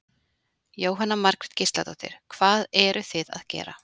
Jóhanna Margrét Gísladóttir: Hvað eruð þið að gera?